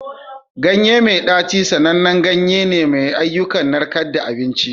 Ganye mai ɗaci sanannen ganye ne mai ayyukan narkewar abinci.